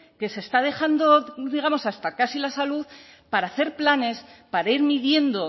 que se está dejando digamos hasta casi la salud para hacer planes para ir midiendo